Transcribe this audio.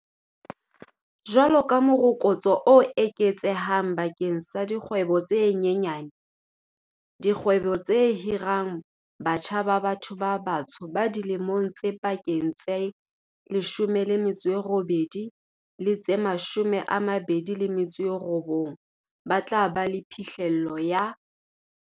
Jwalo ka morokotso o eketsehang bakeng sa dikgwebo tse nyenyane, dikgwebo tse hirang batjha ba batho ba batsho ba dilemong tse pakeng tse 18 le tse 29 ba tla ba le phihlello ya